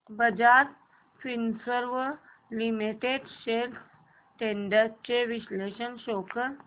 Bajaj Finserv limited shares trends चे विश्लेषण show कर